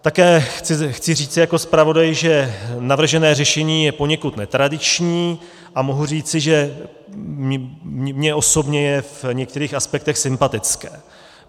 Také chci říci jako zpravodaj, že navržené řešení je poněkud netradiční, a mohu říci, že mně osobně je v některých aspektech sympatické.